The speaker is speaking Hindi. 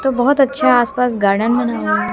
तो बहोत अच्छा आसपास गार्डन बना --